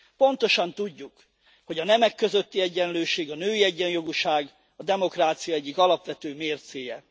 Pontosan tudjuk, hogy a nemek közötti egyenlőség, a női egyenjogúság a demokrácia egyik alapvető mércéje.